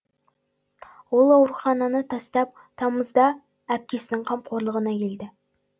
ол аурухананы тастап тамызда әпкесінің қамқорлығына келді